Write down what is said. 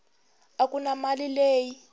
a ku na mali leyi